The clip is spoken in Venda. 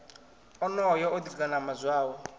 onoyo o ḓi ganama zwawe